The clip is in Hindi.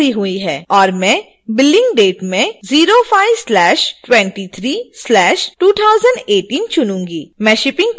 और मैं billing date में 05/23/2018 चुनूंगी